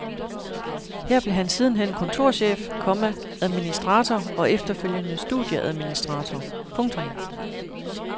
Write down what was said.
Her blev han sidenhen kontorchef, komma administrator og efterfølgende studieadministrator. punktum